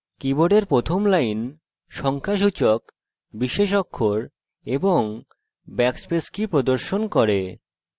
কীবোর্ডের প্রথম line সংখ্যাসূচক বিশেষ অক্ষর of ব্যাকস্পেস key প্রদর্শন করে